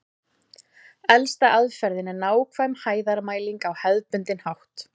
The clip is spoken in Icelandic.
Elsta aðferðin er nákvæm hæðarmæling á hefðbundinn hátt.